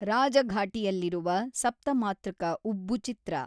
ರಾಜಘಾಟಿಯಲ್ಲಿರುವ ಸಪ್ತಮಾತೃಕ ಉಬ್ಬು ಚಿತ್ರ.